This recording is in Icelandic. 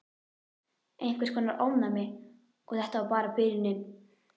Einhvers konar ofnæmi. Og þetta var bara byrjunin.